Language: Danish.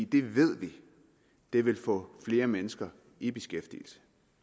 det ved vi vil få flere mennesker i beskæftigelse